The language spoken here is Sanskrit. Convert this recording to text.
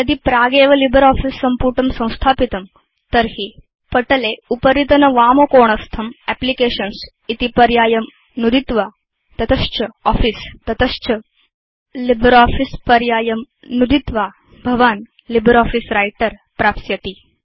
यदि प्रागेव लिब्रियोफिस सम्पुटं संस्थापितं तर्हि पटले उपरितनवामकोणस्थं एप्लिकेशन्स् इति पर्यायं नुदित्वा तत च आफिस तत च लिब्रियोफिस पर्यायं नुदित्वा भवान् लिब्रियोफिस व्रिटर प्राप्स्यति